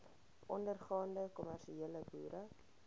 ondergaande kommersiële boere